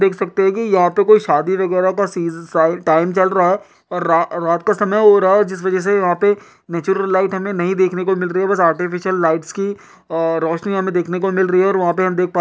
देख सकते हैं कि यहाँ पे कोई शादी वगैरह टाइम चल रहा है। रात का समय हो रहा है जिस वजह से वहाँ पे नेचुरल लाइट हमें देखने को नहीं मिल रही है। बस आर्टिफीसियल लाइट्स की रौशनी हमे देखने को मिल रही है और वहाँ पे --